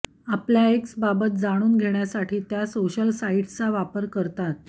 आपल्या एक्सबाबत जाणून घेण्यासाठी त्या सोशल साईट्सचा वापर करतात